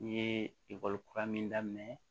N ye ekɔli kura min daminɛ